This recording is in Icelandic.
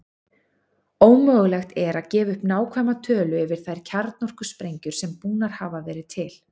Ómögulegt er að gefa upp nákvæma tölu yfir þær kjarnorkusprengjur sem búnar hafa verið til.